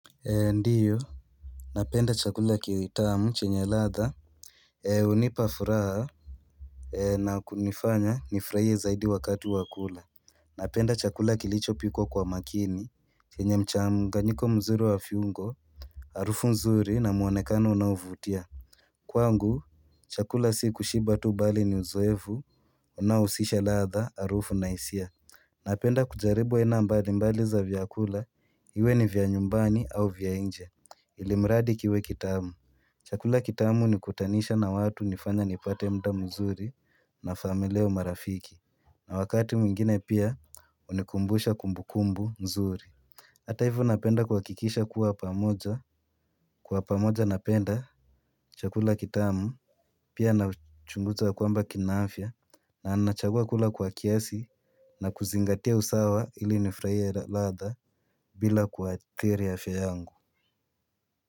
Ndiyo, napenda chakula kiwe tamu chenye ladhaa. Hunipa furaha na kunifanya nifurahie zaidi wakati wakula. Napenda chakula kilicho piko kwa makini Kenye mchanganyiko mzuri wa fiungo. Harufu nzuri na muonekano unaovutia. Kwangu, chakula si kushiba tu bali ni uzoevu. Unaohusisha ladhaa, arufu na hisia. Napenda kujaribu aina mbali mbali za vyakula. Iwe ni vya nyumbani au vya inje. Ilimradi kiwe kitamu. Chakula kitamu hunikutanisha na watu, hunifanya nipate muda mzuri na familia au marafiki. Na wakati mwingine pia hunikumbusha kumbukumbu nzuri. Hata hivu napenda kuhakikisha kuwa pamoja. Kwa pamoja napenda chakula kitamu. Pia nachunguza kwamba kina afya. Na anachagua kula kwa kiasi. Na kuzingatia usawa ili nifurahie ladhaa. Bila kuatiri afya yangu.